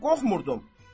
səndən qorxmurdum.